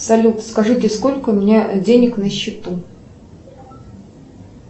салют скажите сколько у меня денег на счету